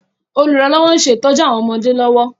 Olùrànlọ́wọ́ ń ṣe ìtójú àwọn ọmọdé lọ́wọ́